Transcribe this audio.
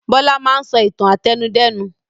Bọlá máa ń sọ ìtàn àtẹnudẹ́nu.